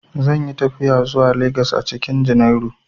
Zan yi tafiya zuwa Legas a cikin junairu.